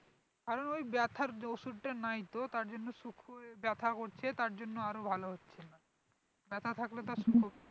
আরও ওই ব্যাথার ওষুধটা নেই তো তার জন্য শুখোয় ব্যাথা করছে তার জন্য আরও ভালো হচ্ছে না ব্যাথা থাকলে তো আর